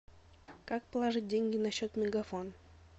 как положить деньги на счет мегафон